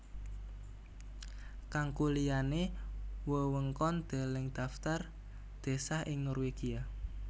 Kanggo liyane wewengkon Deleng Dhaftar désa ing Norwegia